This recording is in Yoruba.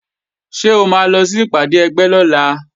Ṣé o máa lọ sí ìpàdé ẹgbẹ́ lọ́la?